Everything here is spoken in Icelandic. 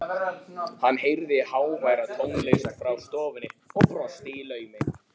Hann heyrði háværa tónlist frá stofunni og brosti í laumi.